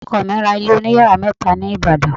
Ọkọ mi ra ilé oniyàrá mẹ́ta ní Ìbàdàn.